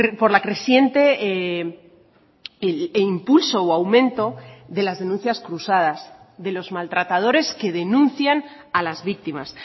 por la creciente e impulso o aumento de las denuncias cruzadas de los maltratadores que denuncian a las víctimas